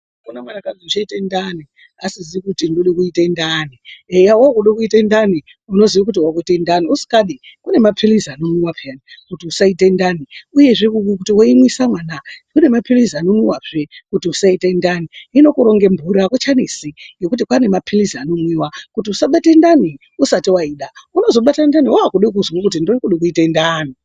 Kune umweni akazi uchaite ndani asizi kuti ndode kuite ndani eya wakude kuite ndani unoziya kuti wakuite ndani usikadi kune mapilizi anomwiwa peyani kuti usaite ndani uyezve kuti wei e mwise mwana kune mapilizi ano mwiwa zvee kuti usaite ndani hino kuronge mburi akucha nesi ngekuti kwane mapilizi anomwiwa kuti usa bate ndani usati waida unozo bate ndani wakude kuzwe kuti ndakude kuite ndani.